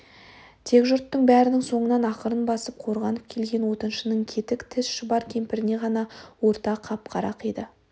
тек жұрттың бәрінің соңынан ақырын басып қорғанып келген отыншының кетік тіс шұбар кемпіріне ғана орта қап қара қиды